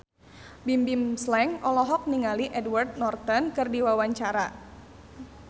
Bimbim Slank olohok ningali Edward Norton keur diwawancara